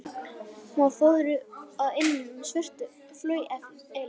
Hún var fóðruð að innan með svörtu flaueli.